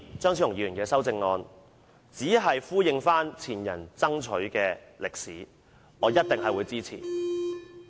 張超雄議員的修正案，只是呼應前人爭取的訴求，我一定會支持。